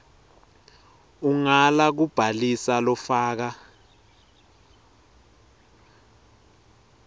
ungala kubhalisa lofaka